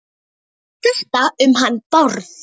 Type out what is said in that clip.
Þetta um hann Bárð?